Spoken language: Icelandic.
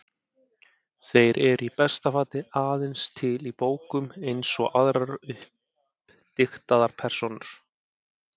Þeir eru í besta falli aðeins til í bókum, eins og aðrar uppdiktaðar persónur.